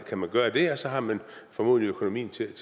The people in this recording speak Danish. kan man gøre det og så har man formodentlig økonomien til